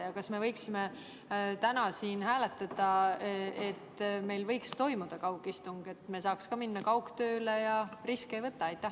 Ja kas me võiksime täna siin hääletada seda, et meil võiks toimuda kaugistung, et saaksime minna kaugtööle ja riske mitte võtta?